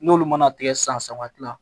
N'olu mana tigɛ san saba kila